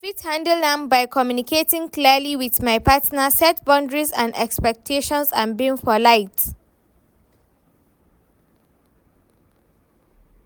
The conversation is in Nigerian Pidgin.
i fit handle am by communicating clearly with my partner, set boundaries and expectations and being polite.